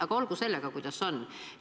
Aga olgu sellega, kuidas on.